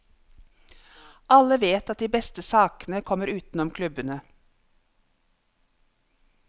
Alle vet at de beste sakene kommer utenom klubbene.